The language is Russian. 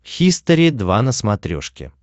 хистори два на смотрешке